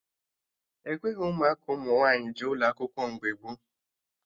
Ekweghị ụmụaka ụmụ nwaanyị jee ụlọ akwụkwọ mgbe gboo